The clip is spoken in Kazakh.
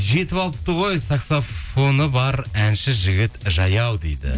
жетіп алыпты ғой саксафоны бар әнші жігіт жаяу дейді